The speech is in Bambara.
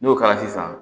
N'o kɛra sisan